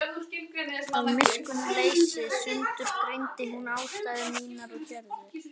Af miskunnarleysi sundurgreindi hún ástæður mínar og gjörðir.